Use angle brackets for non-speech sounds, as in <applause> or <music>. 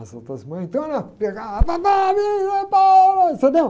As outras mães, então era, pegava, <unintelligible> entendeu?